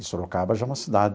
E Sorocaba já é uma cidade...